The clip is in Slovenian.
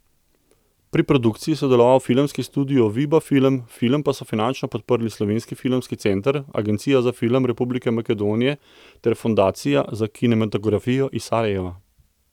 Pri produkciji je sodeloval Filmski studio Viba film, film pa so finančno podprli Slovenski filmski center, Agencija za film Republike Makedonije ter Fondacija za kinematografijo iz Sarajeva.